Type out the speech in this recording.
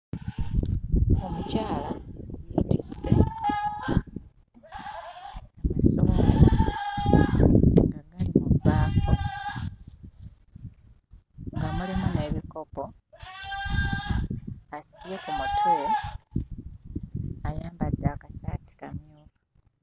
Omukyala yeetisse amasowaani nga gali mu bbaafu, nga mulimu n'ebikopo, asibye ku mutwe, ayambadde akasaati kamyufu.